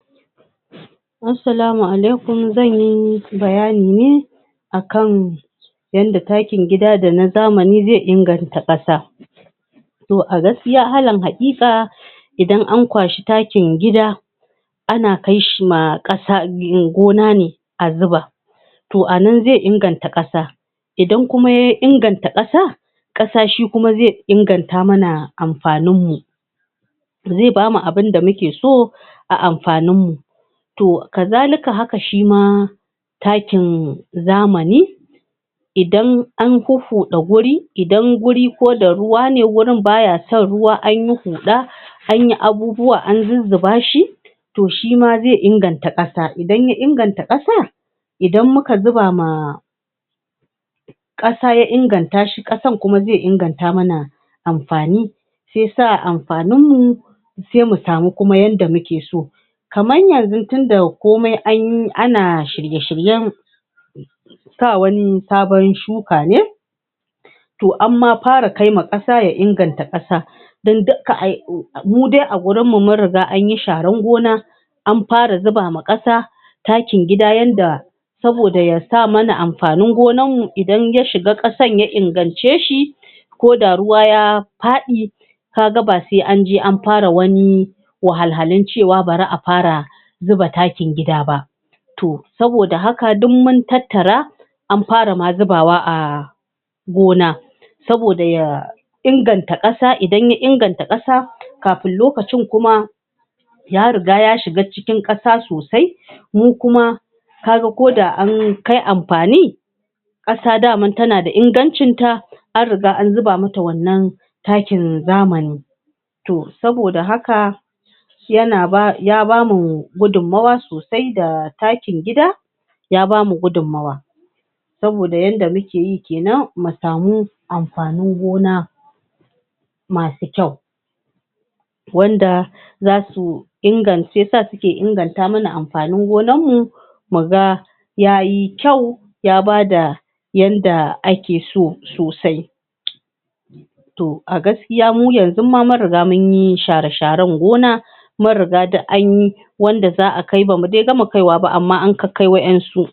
Assalamu alaikum! zan yi bayani ne a kan yanda takin gida da na zamani zai inganta ƙasa, to a gaskiya alan haƙiƙa idan an kwashi takin gida ana kai shi ma ƙasa...gona ne a zuba, to anan zai inganta ƙasa idan kuma ya inganta ƙasa ƙasa shi kuma zai ingata mana amfaninmu, zai bamu abinda muke so a amfaninmu, to kazalika haka shima takin zamani idan an huhhuɗa guri idan guri ko da ruwa ne wurin baya son ruwa anyi huɗa anyi abubuwa an zuzzuba shi, to shima zai inganta ƙasa idan ya inganta ƙasa idan muka zuba ma ƙasa ya inganta shi ƙasan kuma zai inganta mana amfani, shi yasa amfaninmu sai mu samu kuma yanda muke so, kaman yanzu tunda komai an yi ana shiye-shiryen sa wani sabon shuka ne to amma fara kaima ƙasa ya inganta ƙasa don dukka ai...mude a gurinmu mun riga anyi sharan gona an fara zuba ma ƙasa takin gida yanda saboda ya sa mana amfanin gonanmu idan ya shiga ƙasan ya ingance shi koda ruwa ya faɗi kaga ba sai anje an fara wani wahal halun cewa bari a fara zuba takin gida ba, to saboda haka duk mun tattara an fara ma zubawa a gona, saboda ya... inganta ƙasa idan ya inganta ƙasa kafin lokacin kuma ya riga ya shiga cikin ƙasa sosai mu kuma kaga koda an kai amfani ƙasa dama ta na da ingancinta an riga an zuba ma ta wannan takin zamani, to saboda haka ya na ba... ya bamu gudummawa sosai da takin gida ya bamu gudummawa, saboda yanda mu ke yi kenan mu samu amfanin gona masu kyau, wanda za su ingan... shiyasa suke inganta mana amfanin ganammu mu ga ya yi kyau ya bada yanda ake so sasai, to a gaskiya mu yanzun ma mun riga munyi share-sharen gona mun riga duk anyi wanda za'a kai bamu de gama kaiwa ba amma an kakkai waɗansu.